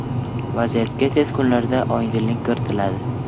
Vaziyatga tez kunlarda oydinlik kiritiladi.